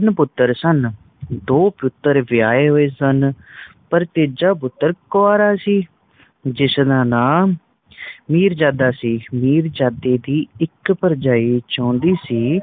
ਤਿੰਨ ਪੁੱਤਰ ਸਨ। ਦੋ ਪੁੱਤਰ ਵਿਆਹੇ ਹੋਏ ਸਨ ਪਰ ਤੀਜਾ ਪੁੱਤਰ ਕੁਵਾਰਾ ਸੀ ਜਿਸ ਦਾ ਨਾਮ ਮੀਰਜਦਾ ਸੀ। ਮਿਰਜਾਦੇ ਦੀ ਇਕ ਭਰਜਾਈ ਚਾਹੁੰਦੀ ਸੀ